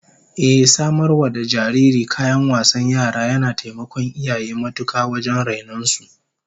Ehh, samar wa da jariri kayan wasan yara yana taimakon iyaye matuka wajen rainon su